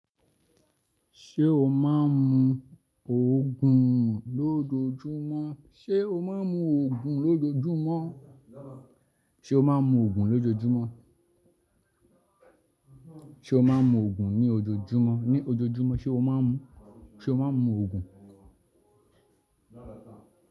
Ṣé o máa ń mu Òogùn lójoojúmọ́? Ṣé o máa ń mu Òogùn lójoojúmọ́? O máa ń mu Ògùn ní ojoojúmọ́? Ní ojoojúmọ́ ṣe ó máa ń mu? Ṣe o máa ń mu Ògùn?